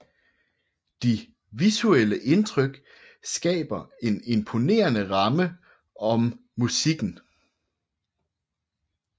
De visuelle indtryk skaber en imponerede ramme om musikken